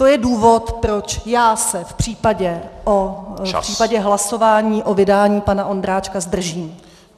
To je důvod, proč já se v případě hlasování o vydání pana Ondráčka zdržím.